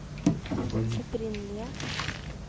opprinnelige